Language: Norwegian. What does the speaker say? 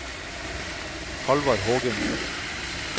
Hallvard Hågensen